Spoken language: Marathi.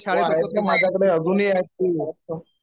हो आहेत ते माझ्याकडे अजूनही आहेत